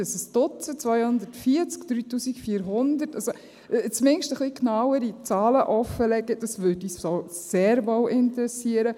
Ist es ein Duzend, sind es 240, 3400? – Zumindest etwas genauere Zahlen offenlegen, das würde uns sehr wohl interessieren.